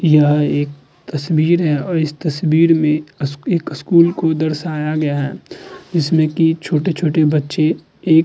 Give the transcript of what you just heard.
यह एक तस्वीर है और इस तस्वीर में स्कू एक स्कूल को दर्शाया गया है जिसमें की छोटे-छोटे बच्चे एक --